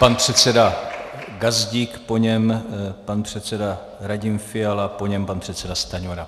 Pan předseda Gazdík, po něm pan předseda Radim Fiala, po něm pan předseda Stanjura.